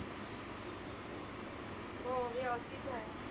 हो ही मी अगदीच आहे.